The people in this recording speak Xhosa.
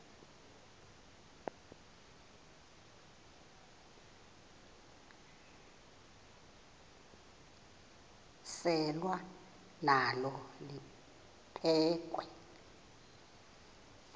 selwa nalo liphekhwe